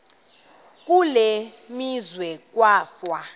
kule meazwe kwafa